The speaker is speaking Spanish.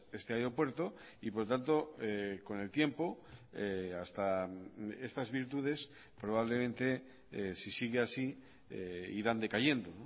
este aeropuerto y por lo tanto con el tiempo hasta estas virtudes probablemente si sigue así irán decayendo